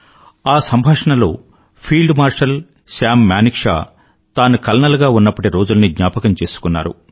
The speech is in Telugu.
ఆ సంభాషణలో ఫీల్డ్ మార్షల్ సామ్ మానేక్షా తాను కల్నల్ గా ఉన్నప్పటి రోజుల్ని జ్ఞాపకం చేసుకున్నారు